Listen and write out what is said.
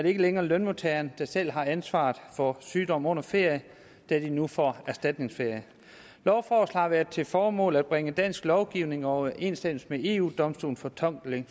ikke længere lønmodtagerne der selv har ansvaret for sygdom under ferie da de nu får erstatningsferie lovforslaget har til formål at bringe dansk lovgivning i overensstemmelse med eu domstolens fortolkning